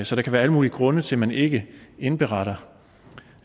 så der kan være alle mulige grunde til at man ikke indberetter